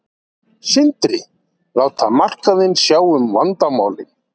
Sindri: Láta markaðinn sjá um vandamálin?